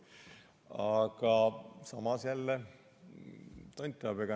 Aga samas jälle – tont teab.